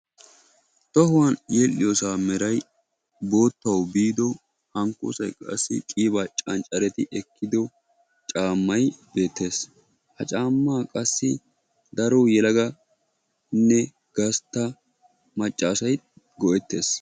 Tohuwaan yedhdhiyosa meeray boottawu bido hankkossay qassi qiba canccaridi ekkido caammay beettes. Ha caama qassi daro yeelaganne gastta macca asaay go'ettees.